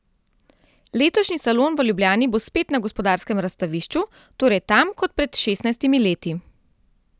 Letošnji salon v Ljubljani bo spet na Gospodarskem razstavišču, torej tam kot pred šestnajstimi leti.